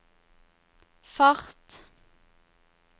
fart